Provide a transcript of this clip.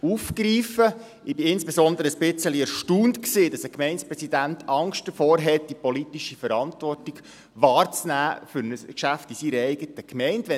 Ich bin insbesondere ein wenig erstaunt, dass ein Gemeindepräsident Angst davor hat, die politische Verantwortung für ein Geschäft in seiner eigenen Gemeinde wahrzunehmen.